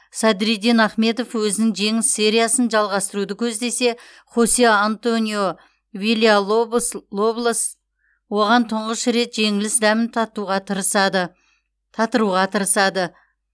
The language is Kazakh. садриддин ахмедов өзінің жеңіс сериясын жалғастыруды көздесе хосе антонио вильялобос оған тұңғыш рет жеңіліс дәмін татыруға тырысады